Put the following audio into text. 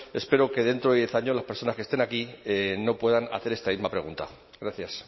espero que dentro de diez años las personas que estén aquí no puedan hacer esta misma pregunta gracias